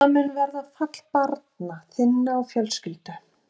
Og það mun verða fall barna þinna og fjölskyldu.